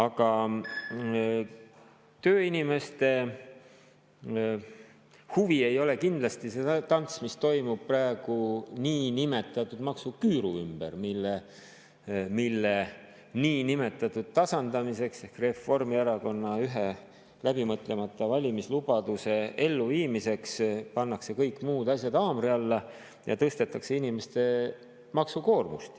Aga tööinimeste huvi ei ole kindlasti see tants, mis toimub praegu niinimetatud maksuküüru ümber, mille niinimetatud tasandamiseks ehk Reformierakonna ühe läbimõtlemata valimislubaduse elluviimiseks pannakse kõik muud asjad haamri alla ja tõstetakse inimeste maksukoormust.